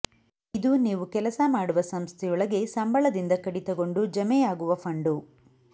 ಇದು ನೀವು ಕೆಲಸ ಮಾಡುವ ಸಂಸ್ಥೆಯೊಳಗೆ ಸಂಬಳದಿಂದ ಕಡಿತಗೊಂಡು ಜಮೆಯಾಗುವ ಫಂಡು